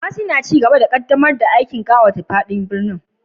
Kumasi na cigaba da ƙaddamar da aikin ƙawata a fadin birnin